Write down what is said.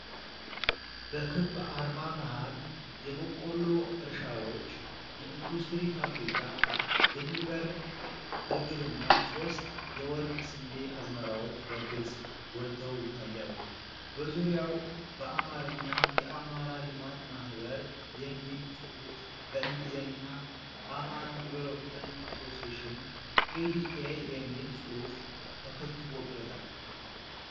በክብ አርማ መሀል፣ የበቆሎ እርሻዎች፣ የኢንዱስትሪ ፋብሪካ፣ የሚበርር ርግብና ሶስት የወርቅ ስንዴ አዝመራዎች በግልጽ ጎልተው ይታያሉ። በዙሪያው በአማርኛ "የአማራ ልማት ማኅበር" የሚል ጽሑፍ በእንግሊዝኛም "AMHARA DEVELOPMENT ASSOCIATION A.D.A." የሚል ጽሑፍ ተከትቦበታል።